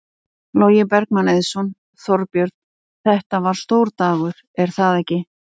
Logi Bergmann Eiðsson: Þorbjörn, þetta var stór dagur er það ekki?